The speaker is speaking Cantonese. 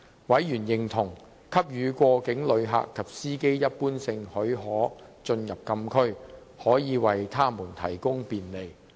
委員認同，給予過境旅客及司機一般性許可進入禁區，可以為他們提供便利。